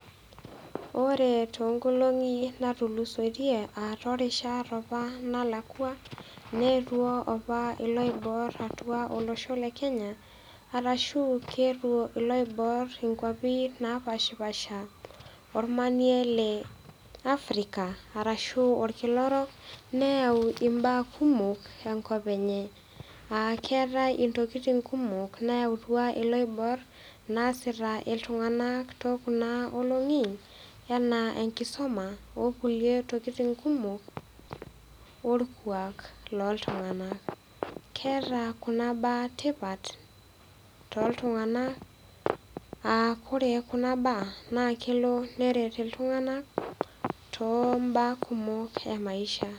Ore toonkolong'i naatulusoitie too rishat apa naalakwa, neetwo opa iloibor atua olosho le Kenya, arashu keetuo iloibor inkwapi naapashipasha, olmanie le africa arashu oolkila orok, neau imbaa kumok enkop enye, aa keatai intokitin kumok, nayautua iloibor naasita iltung'ana tookuna olong'i, anaa enkisuma o kulie tokitin kumok olkwaak loo ltung'anak. Keata kuna baa tipat, too ltung'ana aa kore kuna baa naa kelo neret iltung'ana too imbaa kmok e maisha.